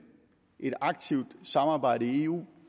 et aktivt samarbejde i eu